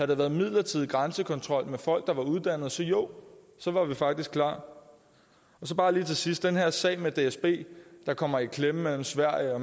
det været en midlertidig grænsekontrol med folk der var uddannet så jo så var vi faktisk klar og så bare lige til sidst den her sag med dsb der kommer i klemme mellem sverige og